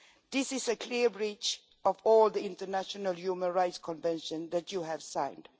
This is a clear breach of all the international human rights conventions that you have signed.